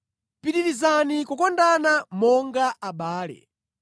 Pitirizani kukondana monga abale.